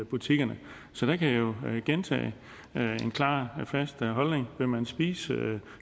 butikkerne så der kan jeg jo gentage en klar og fast holdning vil man spise